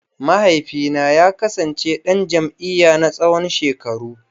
Mahaifina ya kasance dan jam’iyya na tsawon shekaru.